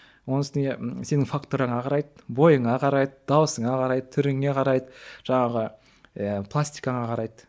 оның үстіне сенің фактураңа қарайды бойыңа қарайды дауысыңа қарайды түріңе қарайды жаңағы иә пластикаңа қарайды